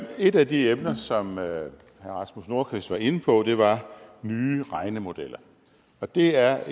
et af de emner som herre rasmus nordqvist var inde på var nye regnemodeller og det er